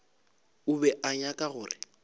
o be a nyaka gore